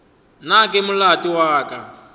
na ke molato wa ka